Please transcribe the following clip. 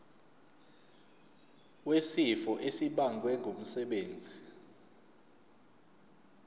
wesifo esibagwe ngumsebenzi